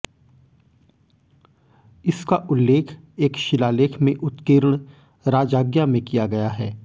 इसका उल्लेख एक शिलालेख में उत्कीर्ण राजाज्ञा में किया गया है